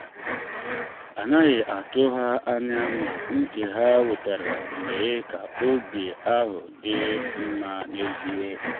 a naghị atụ ha anya ma ntị ha wetara mee ka oge ahụ dị mma n’ezie.